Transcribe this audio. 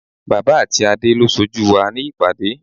Bala àti Adé lo sójú wa ní ìpàdé.